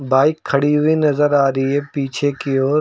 bike खड़ी हुई नजर आ रही है पीछे की ओर--